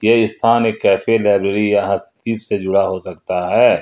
ये स्थान एक कैफे लाइब्रेरी या से जुड़ा हो सकता है।